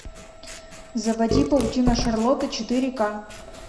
заводи паутина шарлотты четыре ка